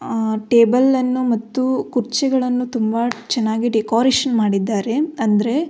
ಆ ಟೇಬಲನ್ನು ಮತ್ತು ಕುರ್ಚಿಗಳನ್ನು ತುಂಬ ಚೆನ್ನಾಗಿ ಡೆಕೊರೇಶನ್ ಮಾಡಿದ್ದಾರೆ ಅಂದ್ರೆ.